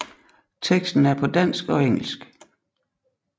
Teksten er på dansk og engelsk